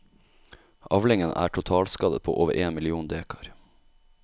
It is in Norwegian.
Avlingen er totalskadet på over én million dekar.